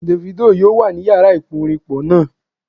Davido yoo wa ni iyara iporinpo naa